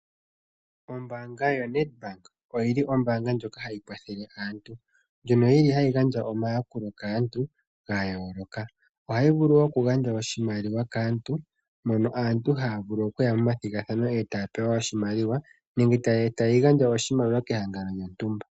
Ombaanga yaNedbank ohayi kwathele aantu nohayi gandja omayakulo gayooloka kaantu. Ohayi vulu woo okugandja oshimaliwa kaantu ngele aantu yayi momathigathano e taya pewa oshimaliwa nenge tayi gandja oshimaliwa kehangano lyontumba.